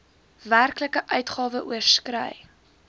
werklike uitgawe oorskry